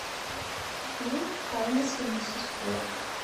фильм тайна семи сестер